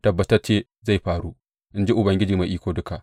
Tabbatacce zai faru, in ji Ubangiji Mai Iko Duka.